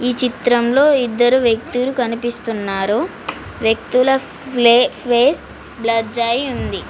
ఈ చిత్రంలో ఇద్దరు వ్యక్తులు కనిపిస్తున్నారు వ్యక్తుల ఫ్లె ఫేస్ బ్లర్ అయి ఉంది.